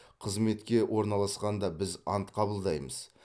қызметке орналасқанда біз ант қабылдаймыз